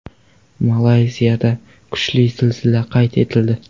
Malayziyada kuchli zilzila qayd etildi.